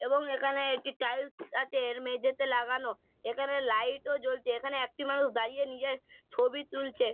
এবং এখানে একটি টাইলস আছে এর মেঝেতে লাগানো এখানে লাইট ও জ্বলছে এখানে একটি মানুষ দাঁড়িয়ে নিজের ছবি তুলছে।